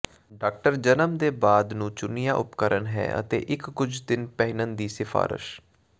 doctor ਜਨਮ ਦੇ ਬਾਅਦ ਨੂੰ ਚੁਣਿਆ ਉਪਕਰਣ ਹੈ ਅਤੇ ਇੱਕ ਕੁਝ ਦਿਨ ਪਹਿਨਣ ਦੀ ਸਿਫਾਰਸ਼